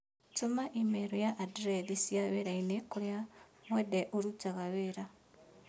Tũma i-mīrū kwa andirethi cia wĩrainĩ kũrĩa Mwende ũrutaga wĩra